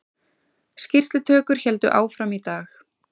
Skýrslutökur héldu áfram í dag